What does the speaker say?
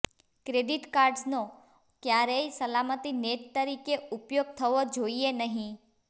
credit કાર્ડ્સનો ક્યારેય સલામતી નેટ તરીકે ઉપયોગ થવો જોઈએ નહીં